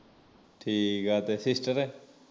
ਠੀਕ ਆ ਤੇ sister